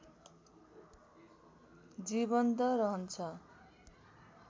जीवन्त रहन्छ